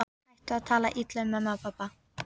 Hættu að tala illa um mömmu og pabba!